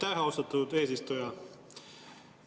Aitäh, austatud eesistuja!